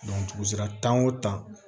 dugu sera tan o tan